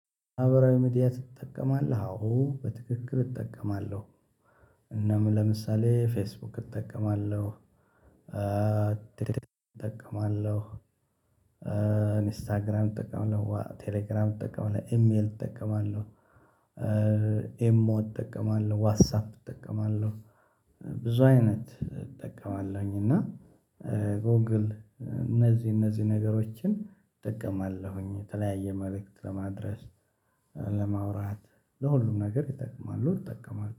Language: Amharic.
ማህበራዊ ሚዲያ ትጠቀማለህ? አዎ በትክክል እጠቀማለሁ። እና ለምሳሌ ፌስቡክ እጠቀማለሁ፣ እጠቀማለሁ ኢንስታግራም እጠቀማለሁ፣ ቴሌግራም እጠቀማለሁ ኤምኤል እጠቀማለሁ ኤሞ እጠቀማለሁ ዋትሳፕ እጠቀማለሁ ብዙ አይነት እጠቀማለሁኝ እና ጎግል እነዚህ እነዚህ ነገሮችን እጠቀማለሁኝ የተለያየ መልእክት ለማድረስ ለማውራት ለሁሉም ነገር ይጠቅማሉ እጠቀማለሁ።